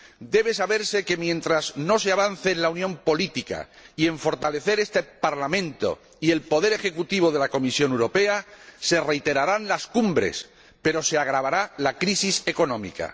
Debe saberse que, mientras no se avance en la unión política y en el fortalecimiento de este Parlamento y del poder ejecutivo de la Comisión Europea, se reiterarán las cumbres, pero se agravará la crisis económica.